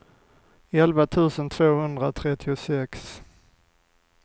elva tusen tvåhundratrettiosex